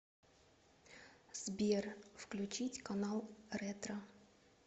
сбер включить канал ретро